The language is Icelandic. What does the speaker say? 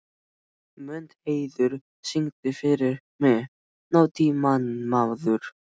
Mundheiður, syngdu fyrir mig „Nútímamaður“.